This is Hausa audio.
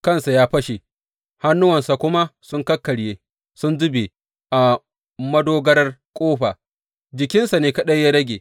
Kansa ya fashe, hannuwansa kuma sun kakkarye sun zube a madogarar ƙofa; jikinsa ne kaɗai ya rage.